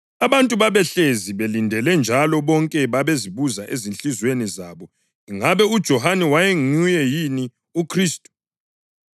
Abantu babehlezi belindele njalo bonke babezibuza ezinhliziyweni zabo ingabe uJohane wayenguye yini uKhristu.